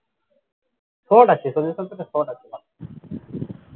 short আছে solution টাতে short আছে।